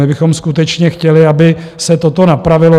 My bychom skutečně chtěli, aby se toto napravilo.